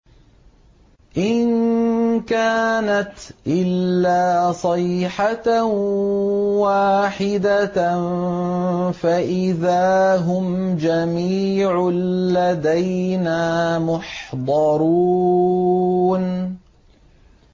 إِن كَانَتْ إِلَّا صَيْحَةً وَاحِدَةً فَإِذَا هُمْ جَمِيعٌ لَّدَيْنَا مُحْضَرُونَ